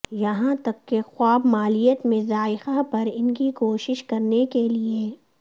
یہاں تک کہ خواب مالیت میں ذائقہ پر ان کی کوشش کرنے کے لئے